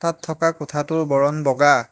তাত থকা কোঠাটোৰ বৰণ বগা।